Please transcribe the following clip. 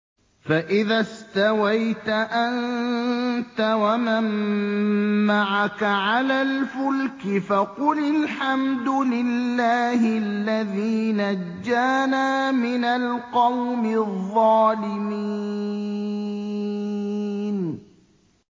فَإِذَا اسْتَوَيْتَ أَنتَ وَمَن مَّعَكَ عَلَى الْفُلْكِ فَقُلِ الْحَمْدُ لِلَّهِ الَّذِي نَجَّانَا مِنَ الْقَوْمِ الظَّالِمِينَ